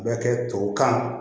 Bɛ kɛ tubabu kan